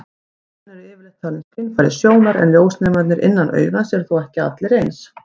Augun eru yfirleitt talin skynfæri sjónar, en ljósnemarnir innan augans eru þó ekki allir eins.